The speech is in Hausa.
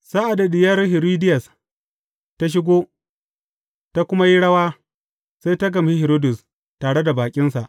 Sa’ad da diyar Hiridiyas ta shigo, ta kuma yi rawa, sai ta gamshi Hiridus tare da baƙinsa.